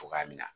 Cogoya min na